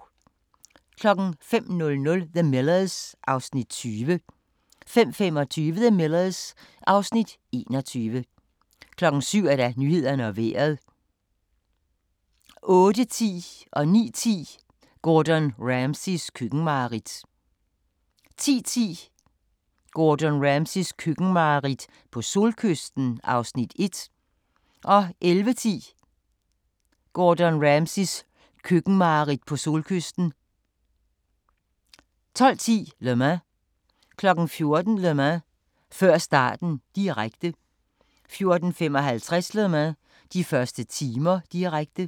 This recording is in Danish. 05:00: The Millers (Afs. 20) 05:25: The Millers (Afs. 21) 07:00: Nyhederne og Vejret 08:10: Gordon Ramsays køkkenmareridt 09:10: Gordon Ramsays køkkenmareridt 10:10: Gordon Ramsays køkkenmareridt - på solkysten (Afs. 1) 11:10: Gordon Ramsays køkkenmareridt - på solkysten 12:10: Le Mans 14:00: Le Mans – før starten, direkte 14:55: Le Mans – de første timer, direkte